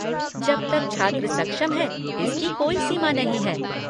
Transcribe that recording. जब तक छात्र सक्षम है, इसकी कोई सीमा नहीं है।